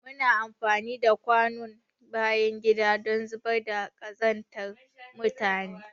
Muna amfani da kwanon bayan gida don zubar da kazantar mutane.